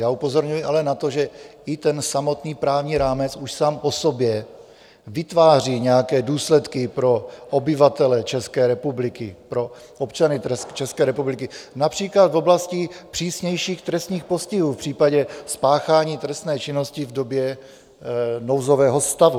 Já upozorňuji ale na to, že i ten samotný právní rámec už sám o sobě vytváří nějaké důsledky pro obyvatele České republiky, pro občany České republiky, například v oblasti přísnějších trestních postihů v případě spáchání trestné činnosti v době nouzového stavu.